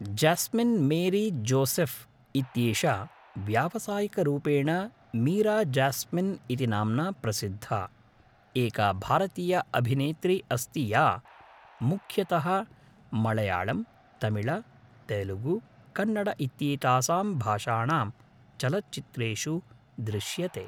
Jasmine Mary Joseph इत्येषा व्यावसायिकरूपेण मीरा ज्यास्मिन् इति नाम्ना प्रसिद्धा, एका भारतीया अभिनेत्री अस्ति या मुख्यतः मळयाळम्, तमिळ, तेलुगु, कन्नड इत्येतासां भाषाणां चलच्चित्रेषु दृश्यते।